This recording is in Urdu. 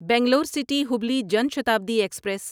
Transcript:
Bangalore city Hubli Jan Shatabdi express